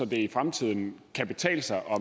det i fremtiden kan betale sig og